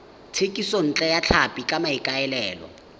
thekisontle ya tlhapi ka maikaelelo